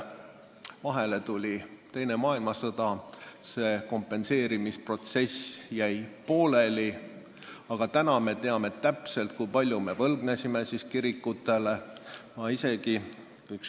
Vahele tuli teine maailmasõda, see kompenseerimisprotsess jäi pooleli, aga praegu me teame täpselt, kui palju me omal ajal kirikutele võlgnesime.